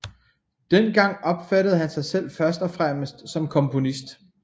Dengang opfattede han sig selv først og fremmest som komponist